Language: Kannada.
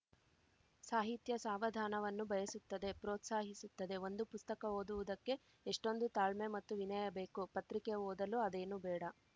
ಸಾಹಿತ್ಯ ಸಾವಧಾನವನ್ನು ಬಯಸುತ್ತದೆ ಪ್ರೋತ್ಸಾಹಿಸುತ್ತದೆ ಒಂದು ಪುಸ್ತಕ ಓದುವುದಕ್ಕೆ ಎಷ್ಟೊಂದು ತಾಳ್ಮೆ ಮತ್ತು ವಿನಯ ಬೇಕು ಪತ್ರಿಕೆ ಓದಲು ಅದೇನೂ ಬೇಡ